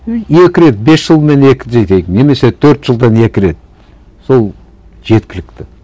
екі рет бес жылмен екі немесе төрт жылдан екі рет сол жеткілікті